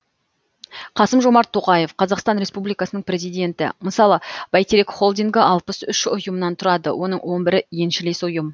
қасым жомарт тоқаев қазақстан республикасының президенті мысалы бәйтерек холдингі алпыс үш ұйымнан тұрады оның он бірі еншілес ұйым